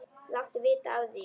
Láttu vita af því.